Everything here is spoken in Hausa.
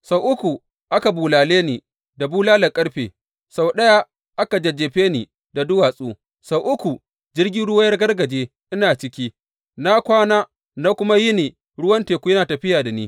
Sau uku aka bulale ni da bulalar ƙarfe, sau ɗaya aka jajjefe ni da duwatsu, sau uku jirgin ruwa ya ragargaje ina ciki, na kwana na kuma yini ruwan teku yana tafiya da ni.